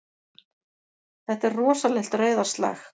Þetta er rosalegt reiðarslag!